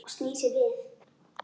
Og snýr sér við.